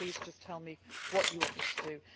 So please just tell me what you want me to